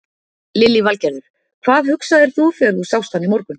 Lillý Valgerður: Hvað hugsaðir þú þegar þú sást hann í morgun?